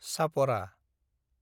Chapora